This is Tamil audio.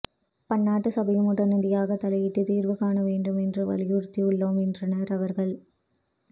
பன்னாட்டு சபையும் உடனடியாக தலையிட்டு தீர்வு காண வேண்டும் என்று வலியுறுத்தி உள்ளோம் என்றனர் அவர்கள்